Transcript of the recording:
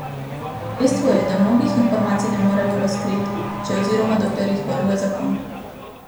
Dejstvo je, da mnogih informacij ne moremo razkriti, če oziroma dokler jih varuje zakon.